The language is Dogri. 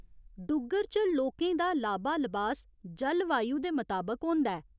डुग्गर च लोकें दा लाबा लबास जलवायु दे मताबक होंदा ऐ।